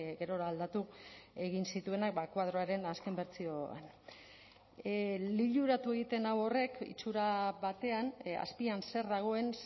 gerora aldatu egin zituenak koadroaren azken bertsioan liluratu egiten nau horrek itxura batean azpian zer dagoen